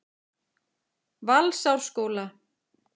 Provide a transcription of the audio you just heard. Valsárskóla